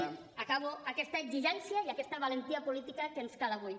acabo aquesta exigència i aquesta valentia política que ens cal avui